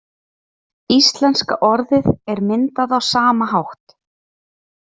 Íslenska orðið er myndað á sama hátt.